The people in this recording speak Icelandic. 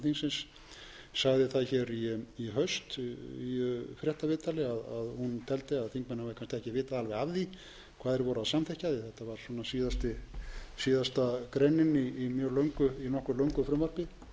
þingsins sagði það hér í haust í fréttaviðtali að hún teldi að þingmenn hafi kannski ekki vitað alveg af því hvað þeir voru að samþykkja því að þetta var síðasta greinin í nokkuð löngu frumvarpi þessi breyting leiddi það af sér